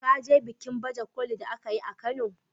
Ka je bikin baje kolin da aka yi a kano.